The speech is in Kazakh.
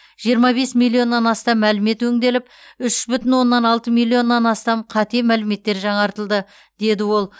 жиырма бес миллионнан астам мәлімет өңделіп үш бүтін оннан алты миллионнан астам қате мәліметтер жаңартылды деді ол